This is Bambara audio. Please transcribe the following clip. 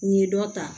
N ye dɔ ta